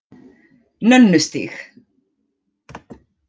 Nönnustíg